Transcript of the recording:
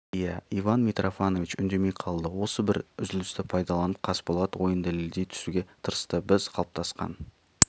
иә иван митрофанович үндемей қалды осы бір үзілісті пайдаланып қасболат ойын дәлелдей түсуге тырысты біз қалыптасқан